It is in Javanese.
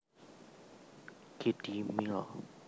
Kiddie Meal